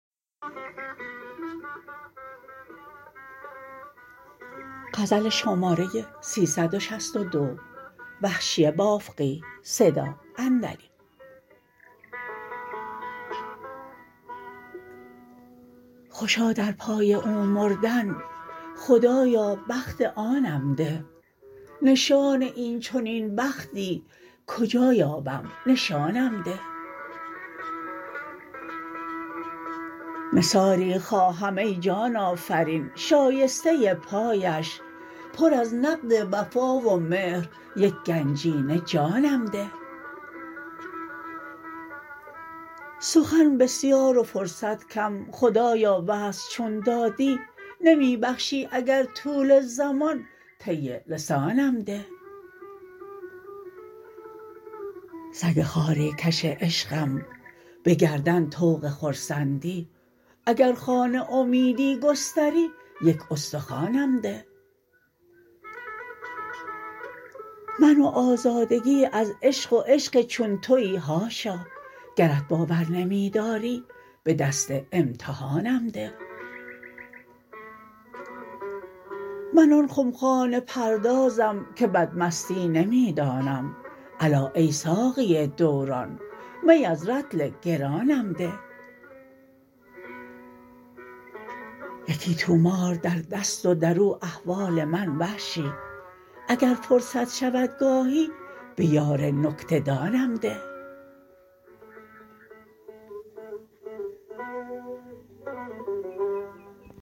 خوشا در پای او مردن خدایا بخت آنم ده نشان اینچنین بختی کجا یابم نشانم ده نثاری خواهم ای جان آفرین شایسته پایش پر از نقد وفا و مهر یک گنجینه جانم ده سخن بسیار و فرصت کم خدایا وصل چون دادی نمی بخشی اگر طول زمان طی لسانم ده سگ خواری کش عشقم به گردن طوق خرسندی اگر خوان امیدی گستری یک استخوانم ده من و آزردگی از عشق و عشق چون تویی حاشا گرت باور نمی داری به دست امتحانم ده من آن خمخانه پردازم که بدمستی نمی دانم الا ای ساقی دوران می از رطل گرانم ده یکی طومار در دست و در او احوال من وحشی اگر فرصت شود گاهی به یار نکته دانم ده